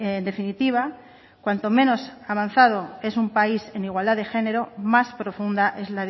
en definitiva cuanto menos avanzado es un país en igualdad de género más profunda es